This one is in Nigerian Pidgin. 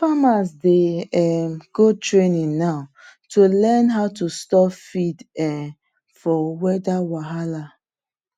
farmers dey um go training now to learn how to store feed um for weather wahala